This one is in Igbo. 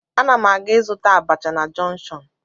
Ana m aga ịzụta abacha na jọnshọn